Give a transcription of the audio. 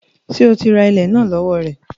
Sé o ra ilẹ̀ náà ní owó rẹ̀?